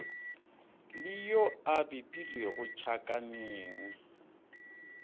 le yo a bipilwego tšhakaneng